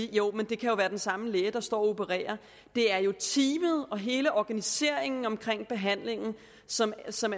jo kan være den samme læge der står og opererer det er jo teamet og hele organiseringen omkring behandlingen som som